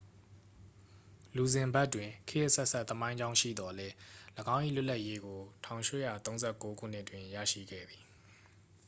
လူဇင်ဘတ်တွင် ခေတ်အဆက်ဆက် သမိုင်းကြောင်းရှိသော်လည်း ၎င်း၏ လွတ်လပ်ရေးကို 1839 ခုနှစ်တွင် ရရှိခဲ့သည်